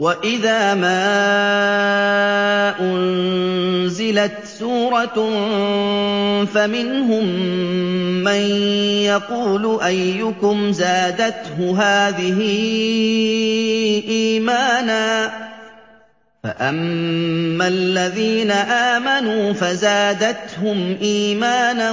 وَإِذَا مَا أُنزِلَتْ سُورَةٌ فَمِنْهُم مَّن يَقُولُ أَيُّكُمْ زَادَتْهُ هَٰذِهِ إِيمَانًا ۚ فَأَمَّا الَّذِينَ آمَنُوا فَزَادَتْهُمْ إِيمَانًا